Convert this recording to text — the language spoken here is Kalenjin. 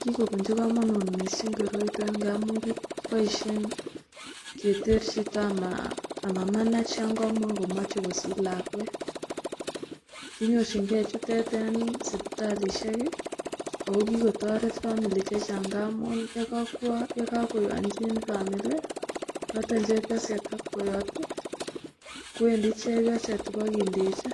Kikopunchi komonut mising koroito ngamun kiboisien keter chito amamanach yon kamakomoche kosich lakwet, kinyorchinge chutet en sipitalisiek ako kikotoret 'family'chechang ngamun yekokoanchin 'family' noton chepioset ak boyot kwendi chepioset ipokindechi